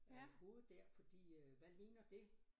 Øh hovedet dér fordi øh hvad ligner det